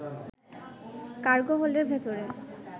cargo হোল্ডের ভেতরে